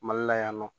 Mali la yan nɔ